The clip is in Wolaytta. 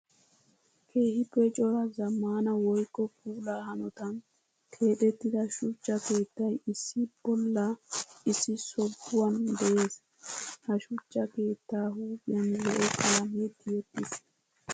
Keehippe cora zamaana woykko puula hanotan keexetidda shuchcha keettay issi bolla issi sobuwan de'ees. Ha shuchcha keetta huuphiyan zo'o qalame tiyettis.